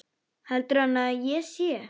Heldur hann að ég sé.